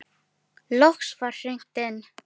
Loks var hringt inn.